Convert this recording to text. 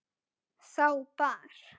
Þá bar